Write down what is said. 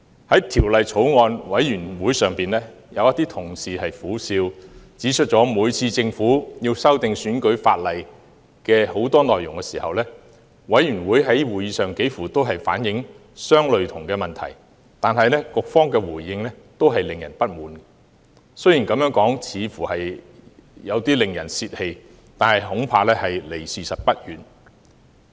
在法案委員會會議上，有同事苦笑指，每次政府要修訂選舉法例多項內容時，委員在會議上幾乎都反映相類似的問題，但局方的回應均令人不滿，雖然這樣說似乎有點令人泄氣，但恐怕離事實不遠。